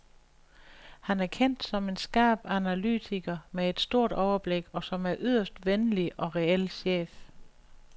Han er kendt som en skarp analytiker med et stort overblik, og som en yderst venlig og reel chef.